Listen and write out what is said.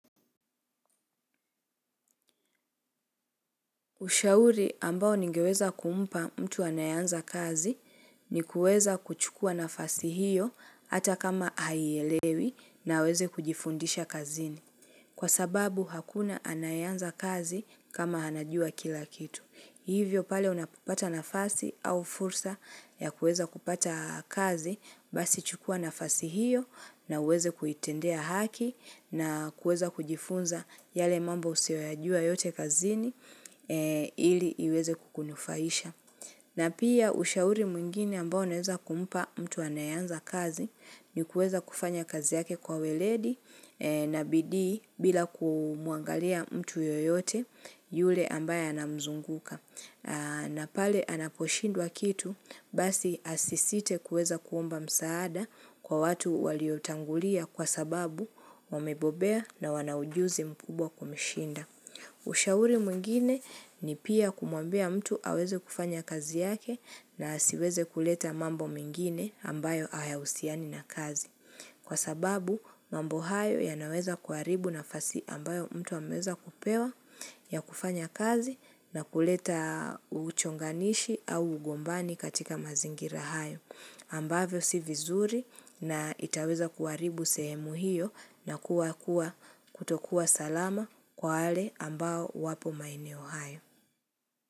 Ushauri ambao ningeweza kumpa mtu anayeanza kazi ni kuweza kuchukua nafasi hiyo hata kama haielewi na aweze kujifundisha kazini. Kwa sababu hakuna anayeanza kazi kama anajua kila kitu. Hivyo pale unapapata nafasi au fursa ya kuweza kupata kazi, basi chukua nafasi hiyo na uweze kuitendea haki na kuweza kujifunza yale mambo usiyoyajua yote kazini ili iweze kukunufaisha. Na pia ushauri mwingine ambao naweza kumpa mtu anaye anza kazi ni kuweza kufanya kazi yake kwa weledi na bidii bila kumuangalia mtu yoyote yule ambaye anamzunguka. Na pale anaposhindwa kitu basi asisite kuweza kuomba msaada kwa watu waliotangulia kwa sababu wamebobea na wana ujuzi mkubwa kumshinda. Ushauri mwingine ni pia kumwambia mtu aweze kufanya kazi yake na asiweze kuleta mambo mengine ambayo hayahusiani na kazi. Kwa sababu mambo hayo yanaweza kuharibu nafasi ambayo mtu ameweza kupewa ya kufanya kazi na kuleta uchonganishi au ugombani katika mazingira hayo. Ambavyo si vizuri na itaweza kuharibu semu hiyo na kuwa kutokuwa salama kwa wale ambao wapo maeneo hayo.